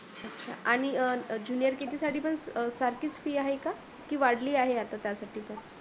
आणि jrkg साठी पण सारखीच fee आहे का ती वाढली आहे आता त्यासाठी पण?